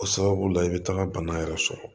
O sababu la i bɛ taga bana yɛrɛ sɔrɔ